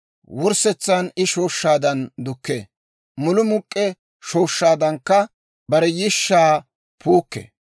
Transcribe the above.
Wurssetsan I shooshshaadan dukkee; mulumuk'k'e shooshshaadankka bare yishshaa puukkee.